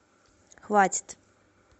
хватит